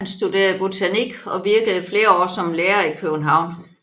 Han studerede botanik og virkede flere år som lærer i København